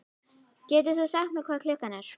Getur þú sagt mér hvað klukkan er?